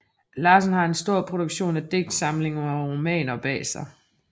Larsen har en stor produktion af digtsamlinger og romaner bag sig